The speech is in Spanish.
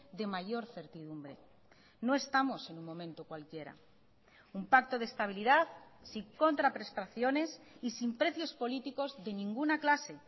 de mayor certidumbre no estamos en un momento cualquiera un pacto de estabilidad sin contraprestaciones y sin precios políticos de ninguna clase